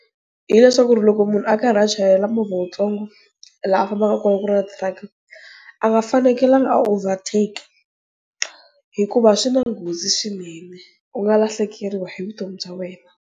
Hi leswaku loko munhu a karhi a chayela movha wutsongo laha a fambaka kona ku ri na truck-i a nga fanekelanga a overtake hikuva swi na nghozi swinene u nga lahlekeriwa hi vutomi bya wena.